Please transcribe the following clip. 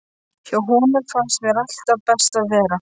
Hjá honum fannst mér alltaf best að vera.